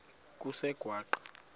kusengwaqa